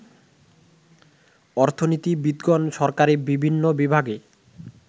অর্থনীতিবিদগণ সরকারী বিভিন্ন বিভাগে